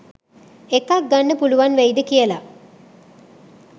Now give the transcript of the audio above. එකක් ගන්න පුලුවන් වෙයිද කියලා?